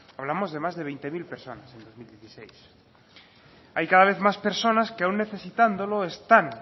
hablamos de más de veinte mil personas en dos mil dieciséis hay cada vez más personas que aun necesitándolo están